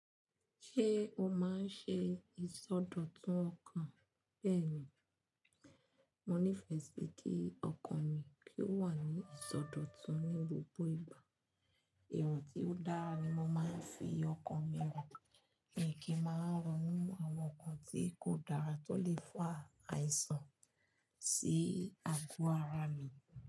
Ṣé o máa ń ṣe ìsọdọ̀tun ọkàn bẹ́ẹ̀ ni? Mo nífẹ̀ẹ́ sí kí ọkàn mi kí ó wà ní ìsọdọ̀tun ní gbogbo ìgbà. Èrò tí ó dára ni mo máa ń fi ọkàn mi hàn, mi kì í máa ronú àwọn nǹkan tí kò dára tó lè fa àìsàn sí àgọ́ ara mi.